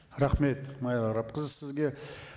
рахмет майра арапқызы сізге